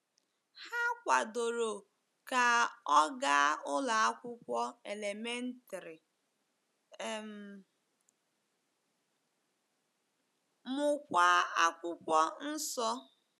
Ha kwadoro ka ọ gaa ụlọ akwụkwọ elementrị um, mụkwa Akwụkwọ Nsọ.